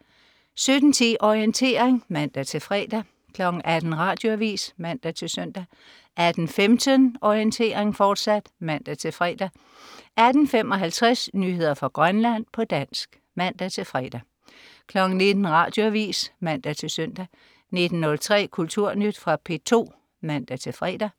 17.10 Orientering (man-fre) 18.00 Radioavis (man-søn) 18.15 Orientering, fortsat (man-fre) 18.55 Nyheder fra Grønland, på dansk (man-fre) 19.00 Radioavis (man-søn) 19.03 Kulturnyt. Fra P2 (man-fre)